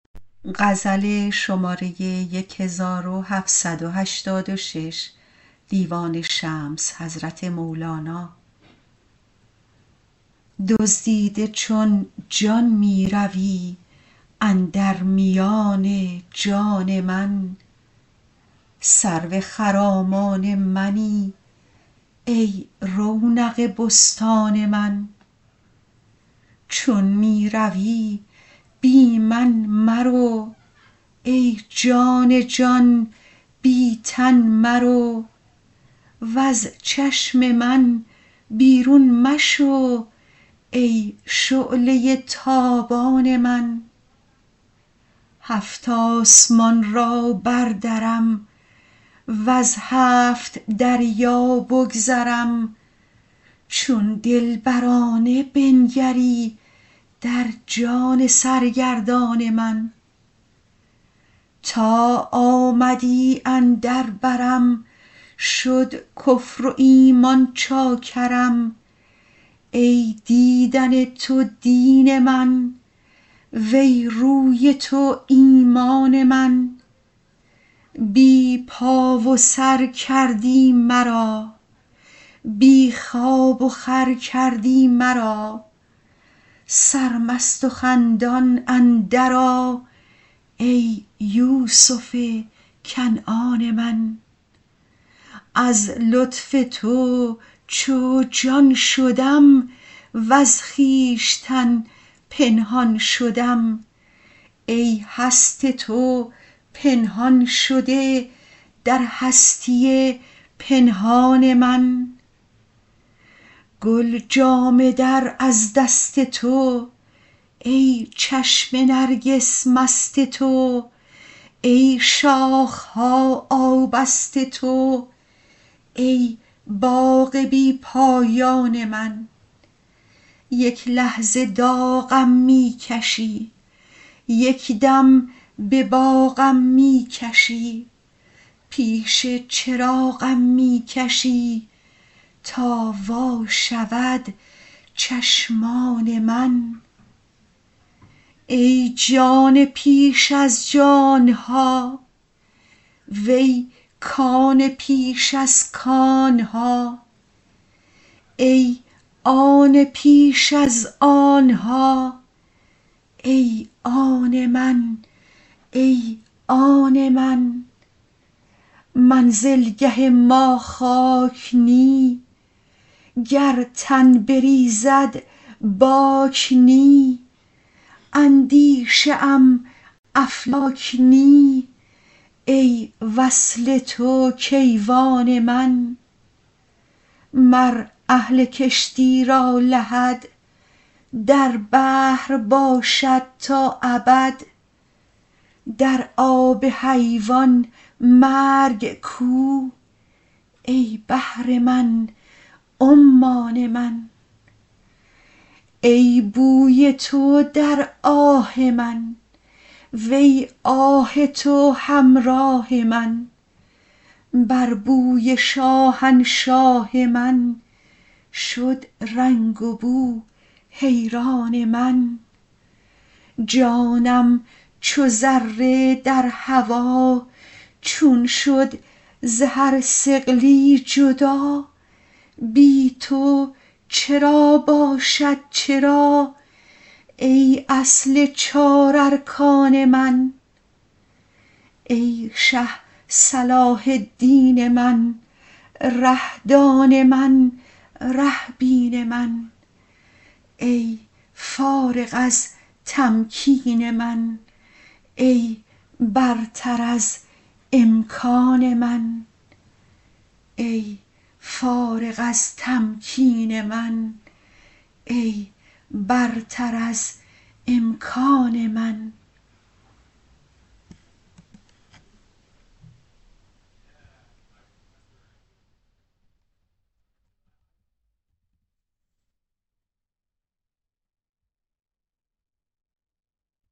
دزدیده چون جان می روی اندر میان جان من سرو خرامان منی ای رونق بستان من چون می روی بی من مرو ای جان جان بی تن مرو وز چشم من بیرون مشو ای شعله ی تابان من هفت آسمان را بردرم وز هفت دریا بگذرم چون دلبرانه بنگری در جان سرگردان من تا آمدی اندر برم شد کفر و ایمان چاکرم ای دیدن تو دین من وی روی تو ایمان من بی پا و سر کردی مرا بی خواب وخور کردی مرا سرمست و خندان اندرآ ای یوسف کنعان من از لطف تو چون جان شدم وز خویشتن پنهان شدم ای هست تو پنهان شده در هستی پنهان من گل جامه در از دست تو ای چشم نرگس مست تو ای شاخ ها آبست تو ای باغ بی پایان من یک لحظه داغم می کشی یک دم به باغم می کشی پیش چراغم می کشی تا وا شود چشمان من ای جان پیش از جان ها وی کان پیش از کان ها ای آن پیش از آن ها ای آن من ای آن من منزلگه ما خاک نی گر تن بریزد باک نی اندیشه ام افلاک نی ای وصل تو کیوان من مر اهل کشتی را لحد در بحر باشد تا ابد در آب حیوان مرگ کو ای بحر من عمان من ای بوی تو در آه من وی آه تو همراه من بر بوی شاهنشاه من شد رنگ وبو حیران من جانم چو ذره در هوا چون شد ز هر ثقلی جدا بی تو چرا باشد چرا ای اصل چار ارکان من ای شه صلاح الدین من ره دان من ره بین من ای فارغ از تمکین من ای برتر از امکان من